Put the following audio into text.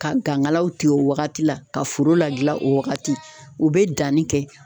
Ka gangalaw tigɛ o wagati la ka foro lagilan o wagati u be danni kɛ